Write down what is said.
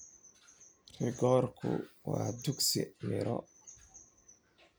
Rikoorku waa dukhsi miro.